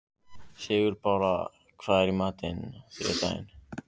Sigurbára, hvað er í matinn á þriðjudaginn?